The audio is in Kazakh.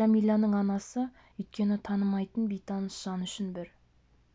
жәмиланың анасы өйткені танымайтын бейтаныс жан үшін бір